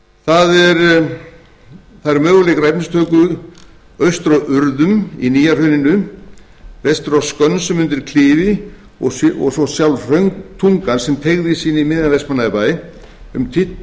á efnistöku eru austur á urðum í nýja hrauninu vestur á skönsum undir klifi og svo sjálf hrauntungan sem teygir sig inn í miðjan vestmannaeyjabæ um tuttugu